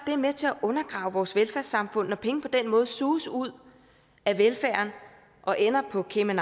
det er med til at undergrave vores velfærdssamfund når penge på den måde suges ud af velfærden og ender på cayman